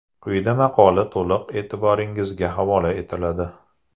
Quyida maqola to‘liq e’tirboringizga havola etiladi.